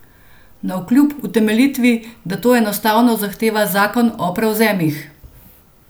Navkljub utemeljitvi, da to enostavno zahteva zakon o prevzemih.